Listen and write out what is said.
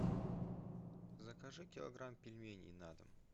закажи килограмм пельменей на дом